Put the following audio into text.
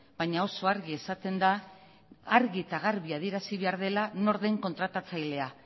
baina oso argi esaten da argi eta garbi adierazi behar dela nor den kontratatzailea